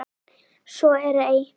Svo er ei.